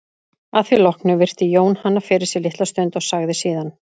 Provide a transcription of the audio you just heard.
Að því loknu virti Jón hana fyrir sér litla stund og sagði síðan